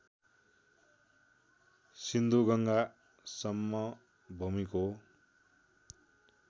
सिन्धुगङ्गा समभूमिको